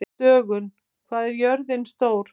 Dögun, hvað er jörðin stór?